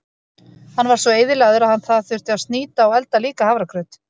Hann var svo eyðilagður að það þurfti að snýta og elda líka hafragraut.